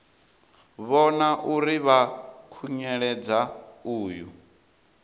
vhona uri vha khunyeledza uyo